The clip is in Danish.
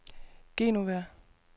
Genova